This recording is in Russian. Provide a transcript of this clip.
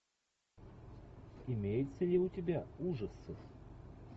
имеется ли у тебя ужасы